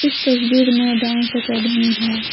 इस तस्वीर में डांस अकेडमी है।